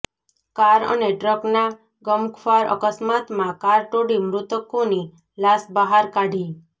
car અને ટ્રકના ગમખ્વાર અકસ્માતમાં કાર તોડી મૃતકોની લાશ બહાર કાઢી